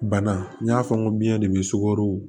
Bana n y'a fɔ n ko biɲɛ de bɛ sukaro